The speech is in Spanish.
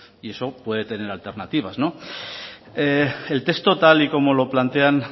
y eso puede tener alternativas el texto tal y como lo plantean